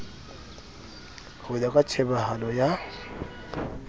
ho ya ka tjhebahalo ya